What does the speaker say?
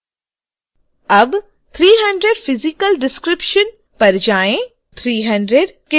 अब 300 physical description पर जाएँ